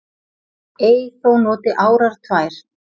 Ei þó noti árar tvær